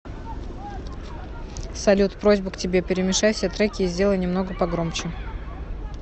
салют просьба к тебе перемешай все треки и сделай немного погромче